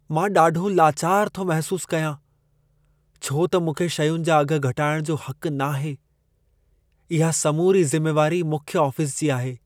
मां ॾाढो लाचारु थो महिसूस कयां छो त मूंखे शयुनि जा अघि घटाइण जो हक़ नाहे। इहा समूरी ज़िमेवारी मुख्य आफ़िसु जी आहे।